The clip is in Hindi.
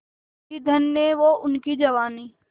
थी धन्य वो उनकी जवानी